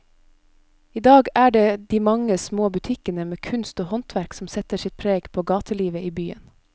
I dag er det de mange små butikkene med kunst og håndverk som setter sitt preg på gatelivet i byen.